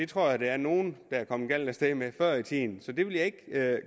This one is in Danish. tror der er nogle der er kommet galt af sted med at før i tiden så det vil jeg ikke